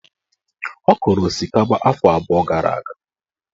Ọ kọrọ osikapa afọ abụọ gara aga.